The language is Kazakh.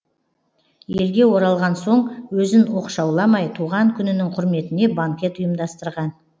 елге оралған соң өзін оқшауламай туған күнінің құрметіне банкет ұйымдастырған